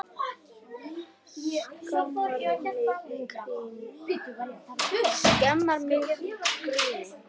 Skammar mig í gríni.